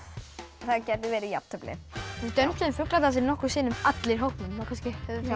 það gæti verið jafntefli við dönsuðum fugladansinn nokkrum sinnum allir í hópnum þá kannski höfum